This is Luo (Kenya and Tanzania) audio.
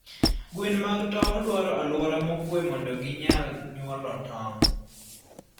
Gwen mag tong'o dwaro aluora mokwe mondo ginyal nyuolo tong'.